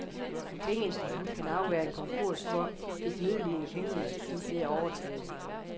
Et pengeinstitut kan afværge en konkurs for et nødlidende pengeinstitut ved at overtage det.